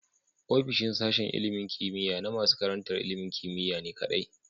Ofishin sashen ilimin kimiya na nasu karantar ilimin kimiyane kadai